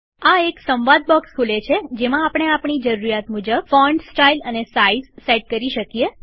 આ એક સંવાદ બોક્સ ખોલે છે જેમાં આપણે આપણી જરૂરીયાત મુજબ ફોન્ટસ્ટાઈલ અને સાઈઝ સેટ કરી શકીએ